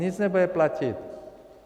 Nic nebude platit.